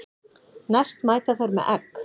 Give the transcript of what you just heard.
Næst mæta þeir með egg.